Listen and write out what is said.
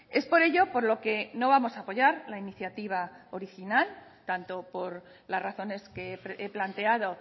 es por ello por lo que no vamos a apoyar la iniciativa original tanto por las razones que he planteado